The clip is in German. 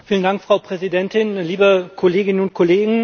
Frau Präsidentin, liebe Kolleginnen und Kollegen!